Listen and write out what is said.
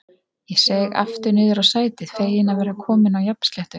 Ég seig aftur niður á sætið, feginn að vera kominn á jafnsléttu.